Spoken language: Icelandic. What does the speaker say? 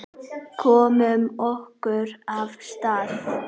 Komum okkur af stað.